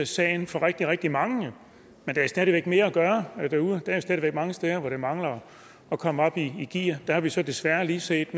sagen for rigtig rigtig mange men der er stadig væk mere at gøre derude der er stadig væk mange steder hvor det mangler at komme op i gear der har vi så desværre lige set